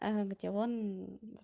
а где он